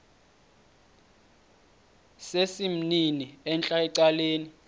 sesimnini entla ecaleni